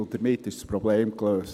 Damit ist das Problem gelöst.